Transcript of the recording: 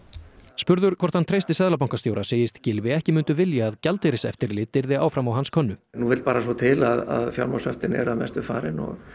spurður hvort hann treysti seðlabankastjóra segist Gylfi ekki mundu vilja að gjaldeyriseftirlit yrði áfram á hans könnu nú vill bara svo til að fjármagnshöftin eru að mestu farin og